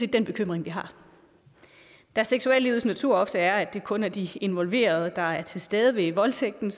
den bekymring vi har da seksuallivets natur ofte er at det kun er de involverede der er til stede ved voldtægten